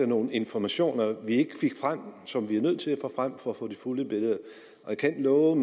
nogle informationer vi ikke fik frem og som vi er nødt til at få frem for at få det fulde billede jeg kan love